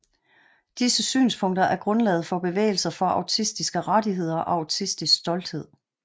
Disse synspunkter er grundlaget for bevægelser for autistiske rettigheder og autistisk stolthed